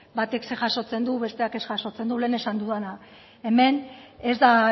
batek zer jasotzen du besteak ez jasotzen du lehen esan dudana hemen ez da